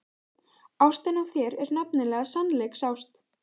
Ástin á þér er nefnilega sannleiksást.